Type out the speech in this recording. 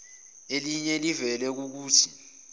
eliye livele kukuthi